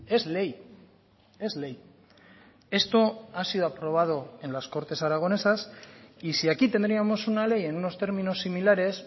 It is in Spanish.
es ley es ley esto ha sido aprobado en las cortes aragonesas y si aquí tendríamos una ley en unos términos similares